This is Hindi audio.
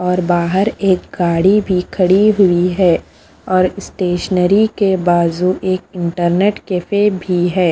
और बाहर एक गाड़ी भी खड़ी हुई है और स्टेशनरी के बाजू एक इंटरनेट कैफ़े भी है।